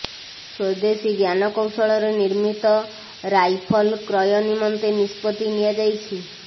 ସ୍ୱଦେଶୀ ଜ୍ଞାନକୌଶଳରେ ନିର୍ମିତ ରାଇଫଲ୍ କ୍ରୟ ନିମନ୍ତେ ନିଷ୍ପତ୍ତି ନିଆଯାଇଛି